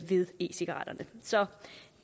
ved e cigaretterne så